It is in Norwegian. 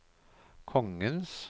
kongens